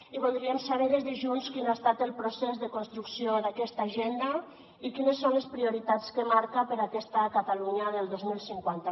i voldríem saber des de junts quin ha estat el procés de construcció d’aquesta agenda i quines són les prioritats que marca per a aquesta catalunya del dos mil cinquanta